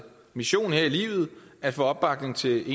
mission her i livet at få opbakning til